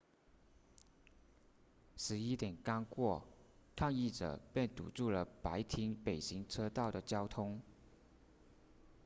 11点刚过抗议者便堵住了白厅北行车道的交通